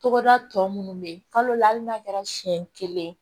Togoda tɔ munnu be yen kalo la hali n'a kɛra siɲɛ kelen